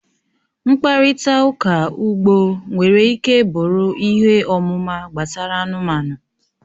Mkparịta ụka ugbo nwere ike bụrụ ihe ọmụma gbasara anụmanụ